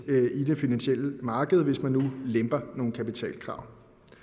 i det finansielle marked hvis man nu lemper nogle kapitalkrav